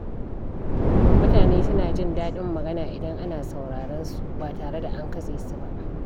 Mutane suna jin daɗin magana idan ana sauraron su ba tare da an katse su ba.